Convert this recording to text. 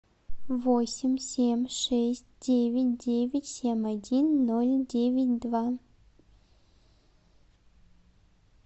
восемь семь шесть девять девять семь один ноль девять два